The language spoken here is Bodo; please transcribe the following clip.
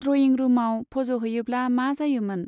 ड्रयिं रुमाव फज' हैयोब्ला मा जायोमोन ?